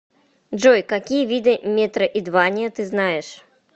джой какие виды метроидвания ты знаешь